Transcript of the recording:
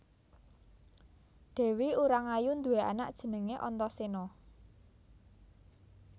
Dèwi Urangayu nduwé anak jenengé Antasena